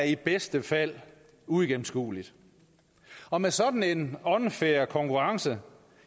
i bedste fald uigennemskuelig og med sådan en unfair konkurrence